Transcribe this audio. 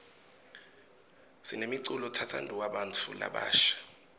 sinemculo tsatsanduwa bnatfu labasha